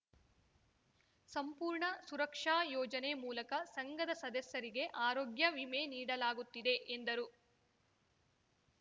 ಸಂಪೂರ್ಣ ಸುರಕ್ಷಾ ಯೋಜನೆ ಮೂಲಕ ಸಂಘದ ಸದಸ್ಯರಿಗೆ ಆರೋಗ್ಯ ವಿಮೆ ನೀಡಲಾಗುತ್ತಿದೆ ಎಂದರು